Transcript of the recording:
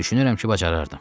Düşünürəm ki, bacarardım.